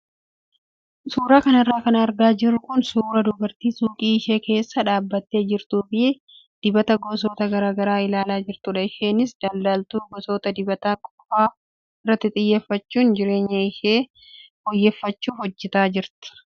Suuraa kanarra kan argaa jirru kun suuraa dubartii suuqii ishee keessa dhaabbattee jirtuu fi dibata gosoota garaagaraa ilaalaa jirtudha. Isheenis daldaltuu gosoota dibataa qofaa irratti xiyyeeffachuun jireenya ishee fooyyeffachuuf hojjataa jirti.